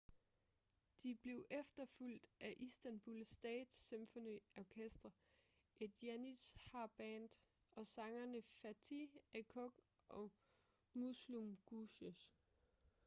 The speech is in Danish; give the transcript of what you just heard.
de blev efterfulgt af istanbul state symphony orchestra et janitshar-band og sangerne fatih erkoç og müslüm gürses